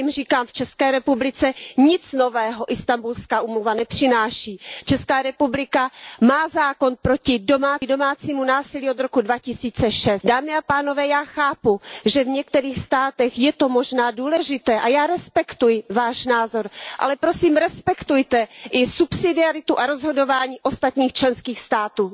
A já jim říkám V České republice nic nového Istanbulská úmluva nepřináší. Česká republika má zákon proti domácímu násilí od roku 2006. Dámy a pánové, já chápu, že v některých státech je to možná důležité, a já respektuji váš názor, ale prosím respektujte i subsidiaritu a rozhodování ostatních členských států.